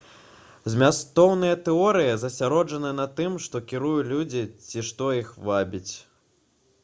змястоўныя тэорыі засяроджаны на тым што кіруе людзьмі ці што іх вабіць